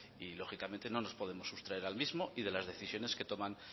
y lógicamente no nos podemos sustraer al mismo y de las decisiones que toman